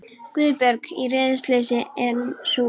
Guðbjörg. í reiðileysi, en sú vitleysa.